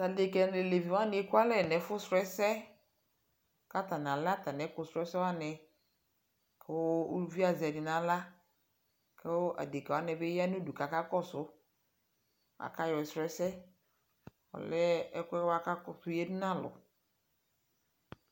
ta adeka na alevi wani ekualɛ nu ɛfu srɔ ɛsɛ ka atani alɛ atani ɛku srɔ ɛsɛ wani ku uvi azɛ ɛdi nala ku adekawanibi yanu udu kakakɔsu akayɔsrɔ ɛsɛ ɔlɛ ɛku kakutu yadu nalu